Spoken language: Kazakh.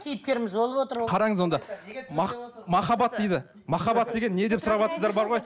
кейіпкеріміз болып отыр ол қараңыз онда махаббат дейді махаббат деген не деп сұраватсыздар бар ғой